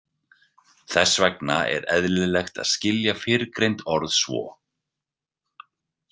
Þess vegna er eðlilegt að skilja fyrrgreind orð svo.